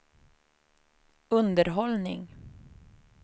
underhållning